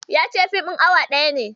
Ya ce fim ɗin awa ɗaya ne.